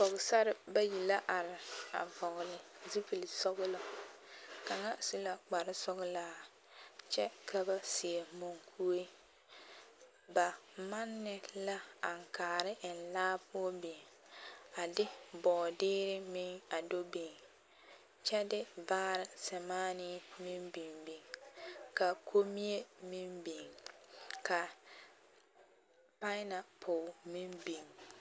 Pɔgesarre bayi la are a vɔgele zupili sɔgelɔ kaŋa su la kpare sɔgelaa kyɛ ka ba seɛ munkuree, ba manne la aŋkaare eŋ laa poɔ biŋ a de bɔɔdeɛ meŋ a do biŋ kyɛ de baare sɛmaanee meŋ biŋ biŋ ka kommie meŋ biŋ ka pa-e-napol meŋ biŋ.